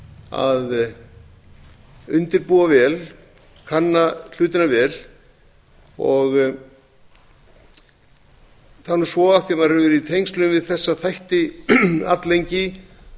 að undirbúa vel kanna hlutina vel það er nú svo af því að maður hefur verið í tengslum við þessa þætti alllengi